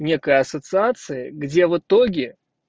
некая ассоциация где в итоге